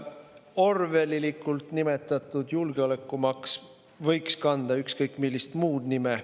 Orwellilikult nimetatud julgeolekumaks võiks kanda ka ükskõik millist muud nime.